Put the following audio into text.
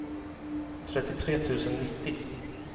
trettiotre tusen nittio